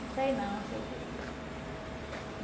Não sei não, não sei o quê.